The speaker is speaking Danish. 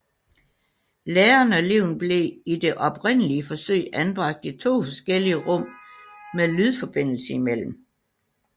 Læreren og eleven blev i det oprindelige forsøg anbragt i to forskellige rum med lydforbindelse imellem